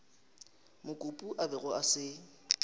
mokopu a bego a se